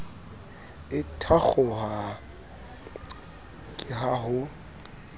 e thakgoha ke ha ho